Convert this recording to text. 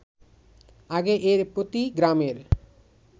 আগে এর প্রতি গ্রামের